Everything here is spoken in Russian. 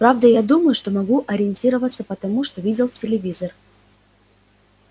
правда я думаю что могу ориентироваться по тому что видел в телевизор